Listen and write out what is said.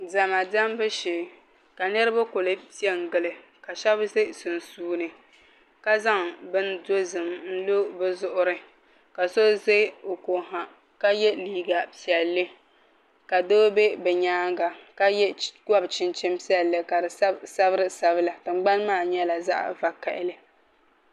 Diɛma diɛmbu shee ka niraba ku piɛ n gili ka shab ʒɛ sunsuuni ka zaŋ bini dozim n lo bi zuɣuri ka so ʒɛ o ko ha ka yɛ liiga piɛlli ka doo bɛ bi nyaanga ka gob chinchini piɛlli ka di sabi sabiri sabila tingbani maa nyɛla zaɣ vakaɣali